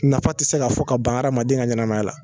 Nafa tɛ se ka fɔ ka ban hadamaden ka ɲɛnamaya la